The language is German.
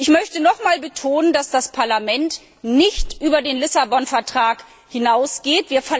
Ich möchte noch einmal betonen, dass das Parlament nicht über den Lissabon Vertrag hinausgeht.